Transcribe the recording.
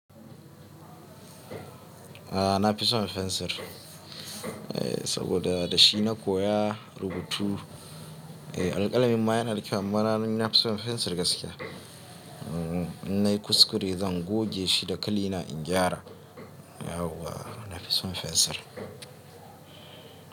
A na fison fensir. Eh saboda da shi na koya rubutu. Eh alkalami ma yana da kyau amma na fison fensir gaskiya. In nayi kuskure zan goge shi da kilina in gyara. Yau wa na fison fensir.